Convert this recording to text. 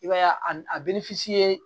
I b'a ye a bɛ ni ye